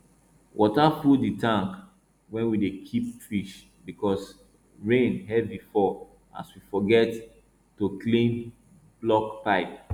water full the tank wey we dey keep fish because rain heavy fall as we forget to clear block pipe